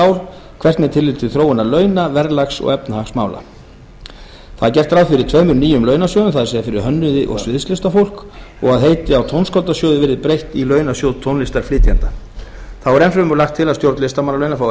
ár hvert með tilliti til þróunar launa verðlags og efnahagsmála gert er ráð fyrir tveimur nýjum launasjóðum það er fyrir hönnuði og sviðslistafólk og að heiti á tónskáldasjóði verði breytt í launasjóð tónlistarflytjenda þá er enn fremur lagt til að stjórn listamannalauna fái